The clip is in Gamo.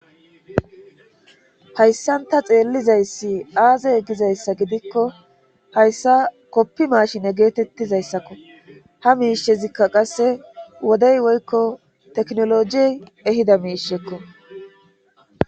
hayssanta xeellizayssi aazey eggizayssa gidikko hayssa koppi maashine geetettizayssakko ha miishezikka qasse wodey woykko teknolojiey ehida miishekko